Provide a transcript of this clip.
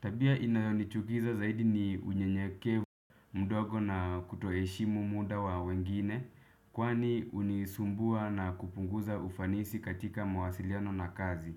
Tabia inayonichukiza zaidi ni unyenyekevu mdogo na kutoheshimu muda wa wengine. Kwani hunisumbua na kupunguza ufanisi katika mawasiliano na kazi.